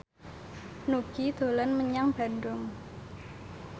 Nugie dolan menyang Bandung